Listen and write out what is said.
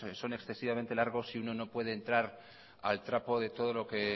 son excesivamente largos y uno no puede entrar al trapo de todo lo que